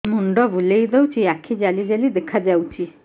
ମୁଣ୍ଡ ବୁଲେଇ ଦଉଚି ଆଖି ଜାଲି ଜାଲି ଦେଖା ଯାଉଚି